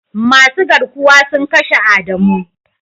Masu garkuwa sun kashe adamu.